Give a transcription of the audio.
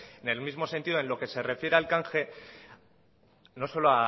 en el mismo sentido en lo que se refiere al canje no solo